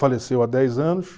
Faleceu há dez anos.